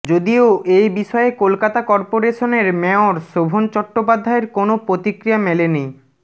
যদিও এবিষয়ে কলকাতা কর্পোরেশনের মেয়র শোভন চট্টোপাধ্যায়ের কোনও প্রতিক্রিয়া মেলেনি